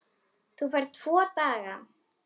Þú færð tvo daga.